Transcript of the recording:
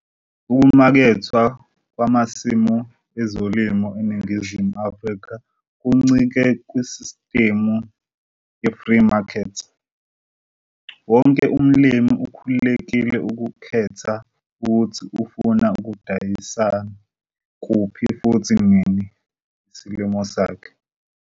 Ukumakethwa kwamasimo ezilimo eNingizimu Afrika kuncike kusistimu ye-free market. Wonke umlimi ukhululekile ukukhetha ukuthi ufuna ukusidayisa kuphi futhi nini isilimo sakhe.